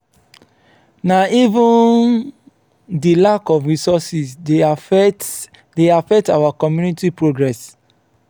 na even di lack of resources dey affect dey affect our community progress.